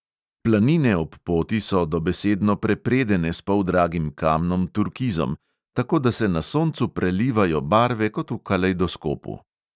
Planine ob poti so dobesedno prepredene s poldragim kamnom turkizom, tako da se na soncu prelivajo barve kot v kalejdoskopu.